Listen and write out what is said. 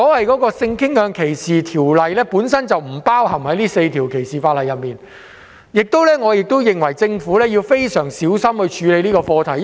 鑒於性傾向歧視法例本來不在這4項反歧視條例中，我認為政府應該非常小心處理這課題。